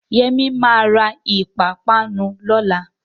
Yẹmí ma ra ìpápánu lọ́la